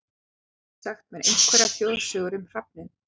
Getið þið sagt mér einhverjar þjóðsögur um hrafninn?